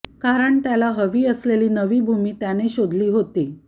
कारण त्याला हवी असलेली नवी भूमी त्याने शोधली होती